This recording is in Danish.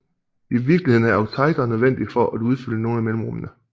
I virkeligheden er oktaedre nødvendige for at udfylde nogle af mellemrummene